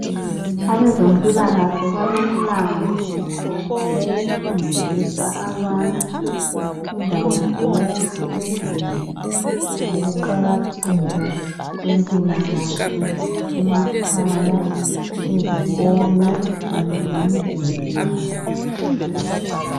Abezempilakahle balomlandu wokufundisa abantu indawo zonke ezinengi ngokuqakatheka kwempilakahle emakhaya, ezikolo kanye lemizini yabo